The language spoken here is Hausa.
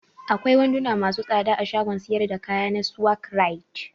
Akwai wanduna masu tsada a shagon siyar da kaya na Swagg right.